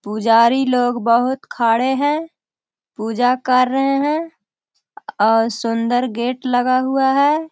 पुजारी लोग बहुत खड़े हैं पूजा कर रहे हैं और सुंदर गेट लगा हुआ हैं।